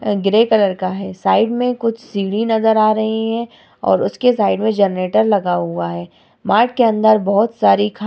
अ grey colour का है side मे कुछ सीढ़ी नज़र आ रही है और उसके साइड मे जनरेटर लगा हुआ है मार्ट के अंदर बहुत सारी --